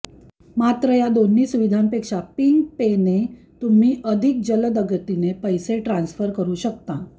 मात्र या दोन्ही सुविधांपेक्षा पिंग पेने तुम्ही अधिक जलदगतीने पैसे ट्रान्सर करु शकता